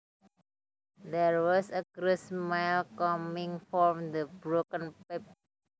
There was a gross smell coming from the broken pipe